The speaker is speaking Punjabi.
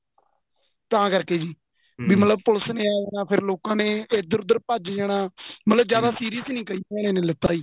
ਤਾਂ ਕਰਕੇ ਜੀ ਵੀ ਮਤਲਬ ਪੁਲਿਸ ਨੇ ਆਂ ਜਾਣਾ ਫ਼ਿਰ ਲੋਕਾ ਨੇ ਇੱਧਰ ਉੱਧਰ ਭੱਜ ਜਾਣਾ ਮਤਲਬ ਜਿਆਦਾ serious ਨਹੀਂ ਕਈ ਜਾਣਿਆ ਨੇ ਲਿੱਤਾ ਜੀ